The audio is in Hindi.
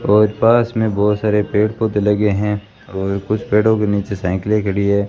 और पास में बहोत सारे पेड़ पौधे लगे हैं और कुछ पेड़ों के नीचे साइकिले खड़ी है।